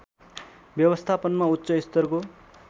व्यवस्थापनमा उच्च स्तरको